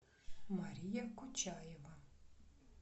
мария кучаева